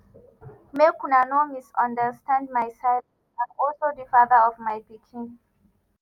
“make una no misunderstand my silence and also di father of my pikin